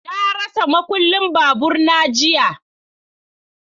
Na rasa makullin babur na jiya.